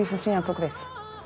sem síðan tók við